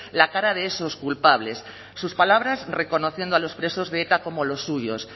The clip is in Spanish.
la cara de esos culpables sus palabras reconociendo a los presos de eta como los suyos